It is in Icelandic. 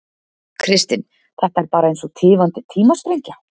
Kristinn: Þetta er bara eins og tifandi tímasprengja?